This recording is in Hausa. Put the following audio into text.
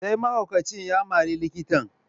Sai mahaukacin ya mari likitan.